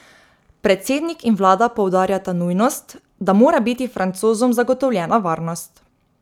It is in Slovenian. Predsednik in vlada poudarjata nujnost, da mora biti Francozom zagotovljena varnost.